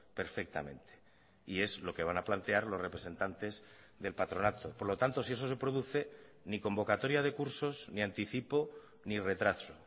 perfectamente y es lo que van a plantear los representantes del patronato por lo tanto si eso se produce ni convocatoria de cursos ni anticipo ni retraso